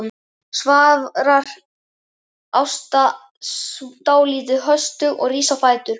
svarar Ásta dálítið höstug og rís á fætur.